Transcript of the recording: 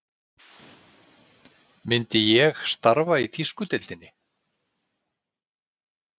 Myndi ég starfa í þýsku deildinni?